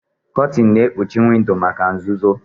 Kotin na-ekpuchi windo maka nzuzo.